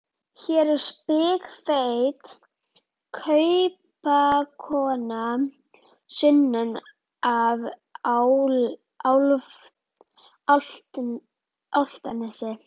Hér er spikfeit kaupakona sunnan af Álftanesi.